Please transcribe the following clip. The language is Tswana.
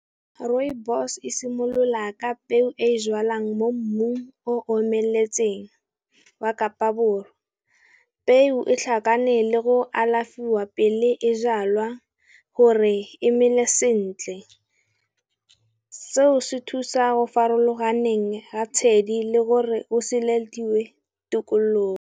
Rrooibos e simolola ka peo e jalwang mo mmung o omeletseng wa Kapa Borwa. Peo e tlhakane le go alafiwa pele e jalwa gore e mele sentle. Seo se thusa farologaneng ga tshedi le gore o seledilwe tikologo.